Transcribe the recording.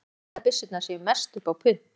Ég held að byssurnar séu mest upp á punt.